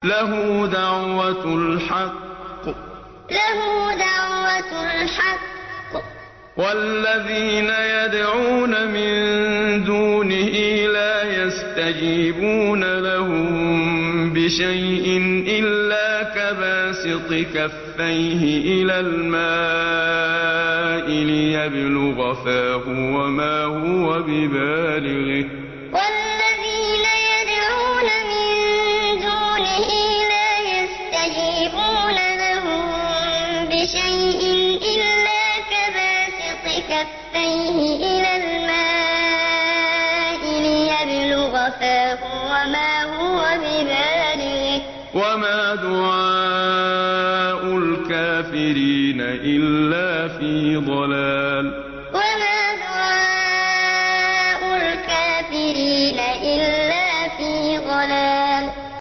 لَهُ دَعْوَةُ الْحَقِّ ۖ وَالَّذِينَ يَدْعُونَ مِن دُونِهِ لَا يَسْتَجِيبُونَ لَهُم بِشَيْءٍ إِلَّا كَبَاسِطِ كَفَّيْهِ إِلَى الْمَاءِ لِيَبْلُغَ فَاهُ وَمَا هُوَ بِبَالِغِهِ ۚ وَمَا دُعَاءُ الْكَافِرِينَ إِلَّا فِي ضَلَالٍ لَهُ دَعْوَةُ الْحَقِّ ۖ وَالَّذِينَ يَدْعُونَ مِن دُونِهِ لَا يَسْتَجِيبُونَ لَهُم بِشَيْءٍ إِلَّا كَبَاسِطِ كَفَّيْهِ إِلَى الْمَاءِ لِيَبْلُغَ فَاهُ وَمَا هُوَ بِبَالِغِهِ ۚ وَمَا دُعَاءُ الْكَافِرِينَ إِلَّا فِي ضَلَالٍ